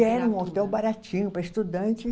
Era um hotel baratinho para estudante.